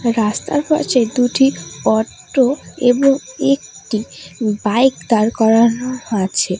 রাস্তার পাশে দুটি অটো এবং একটি বাইক দাঁড় করানো আছে।